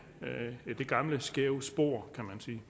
gamle skæve spor kan man sige